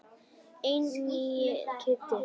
En nýi Kiddi.